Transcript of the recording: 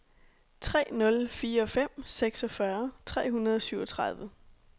tre nul fire fem seksogfyrre tre hundrede og syvogtredive